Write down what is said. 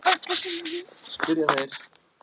spyrja þeir.